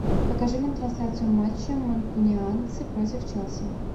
покажи нам трансляцию матча манкунианцы против челси